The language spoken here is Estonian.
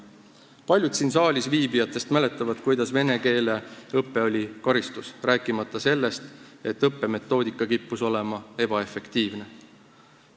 Paljud siin saalis viibijatest mäletavad, kuidas vene keele õpe oli karistus, rääkimata sellest, et õppemetoodika kippus olema ebaefektiivne.